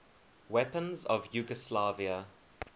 weapons of yugoslavia